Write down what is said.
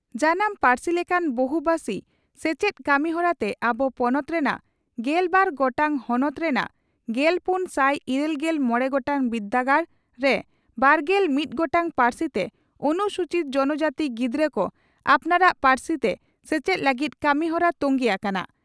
ᱡᱟᱱᱟᱢ ᱯᱟᱹᱨᱥᱤ ᱞᱮᱠᱟᱱ ᱵᱚᱦᱩᱵᱷᱟᱥᱤ ᱥᱮᱪᱮᱫ ᱠᱟᱹᱢᱤᱦᱚᱨᱟ ᱛᱮ ᱟᱵᱚ ᱯᱚᱱᱚᱛ ᱨᱮᱱᱟᱜ ᱜᱮᱞ ᱵᱟᱨ ᱜᱚᱴᱟᱝ ᱦᱚᱱᱚᱛ ᱨᱮᱱᱟᱜ ᱜᱮᱞᱯᱩᱱ ᱥᱟᱭ ᱤᱨᱟᱹᱞᱜᱮᱞ ᱢᱚᱲᱮ ᱜᱚᱴᱟᱝ ᱵᱤᱨᱫᱟᱹᱜᱟᱲ ᱨᱮ ᱵᱟᱨᱜᱮᱞ ᱢᱤᱛ ᱜᱚᱴᱟᱝ ᱯᱟᱹᱨᱥᱤ ᱛᱮ ᱚᱱᱩᱥᱩᱪᱤᱛ ᱡᱚᱱᱚᱡᱟᱹᱛᱤ ᱜᱤᱫᱽᱨᱟᱹ ᱠᱚ ᱟᱯᱱᱟᱨᱟᱜ ᱯᱟᱹᱨᱥᱤ ᱛᱮ ᱥᱮᱪᱮᱫ ᱞᱟᱹᱜᱤᱫ ᱠᱟᱹᱢᱤᱦᱚᱨᱟ ᱛᱚᱝᱜᱮ ᱟᱠᱟᱱᱟ ᱾